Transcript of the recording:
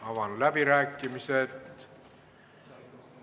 Avan läbirääkimised.